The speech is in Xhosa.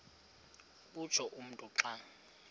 utsho umntu xa